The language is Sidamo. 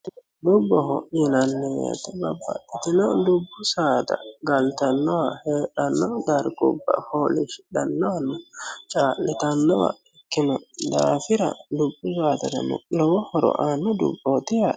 Dubboho yinanni woyite babbaxittino dubbu saada Galatanoha heedhano, darigubba, foolishshidhanowa, caalittanoha ikkino daafira dubbu saadarano lowo horo anno dubboti yaate